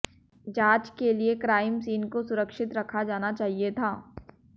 जांच के लिए क्राइम सीन को सुरक्षित रखा जाना चाहिए था